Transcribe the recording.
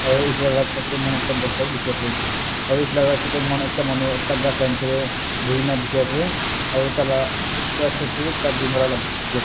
Aro etu la left side dae mokhan ekta bosta bhi dekhe ase aro etu la right side dae mokhan ekta manu ekta ghas la nechidae buhi na dekhe ase aro taila right side dae bhi ekta green colour la boots dekhe ase.